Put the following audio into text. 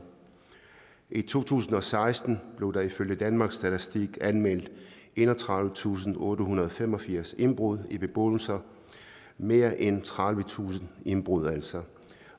i to tusind og seksten blev der ifølge danmarks statistik anmeldt enogtredivetusinde og ottehundrede og femogfirs indbrud i beboelser mere end tredivetusind indbrud altså